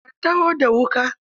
Ka taho da wuƙa.